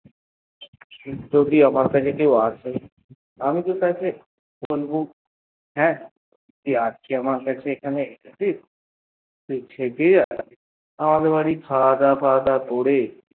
যদি আমার কাছে কেউ আসে অমিত তারে বলব তুই আমার কাছে আজ এসেছিস তুই থেকে যা আমাদের বাড়ি খাওয়া দাওয়া করবি করে